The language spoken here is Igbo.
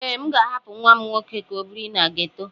Ee, M ga-ahapụ nwa m nwoke ka ọ biri na geto.